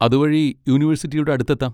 അതുവഴി യൂണിവേഴ്സിറ്റിയുടെ അടുത്തെത്താം.